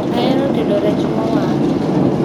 Ahero tedo rech mowang'